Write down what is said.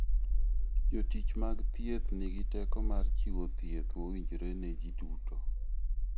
Jotich mag thieth nigi teko mar chiwo thieth mowinjore ne ji duto.